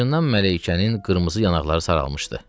Acından Mələykənin qırmızı yanaqları saralmışdı.